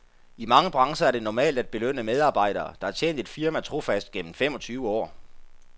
I mange brancher er det normalt at belønne medarbejdere, der har tjent et firma trofast gennem femogtyve år.